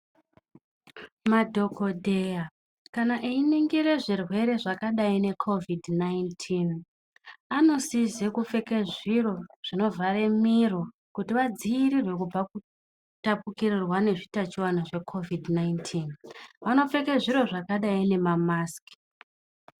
Madhokodheya kana einigira zvirwere zvakadai necovid 19 anosiza kupfeka zviro zvinovhara Miro kuti vadzivirire kubva zvinotapukira nezvitachiona zve COVID 19 vanopfeka zviro zvekadai nemamasiki.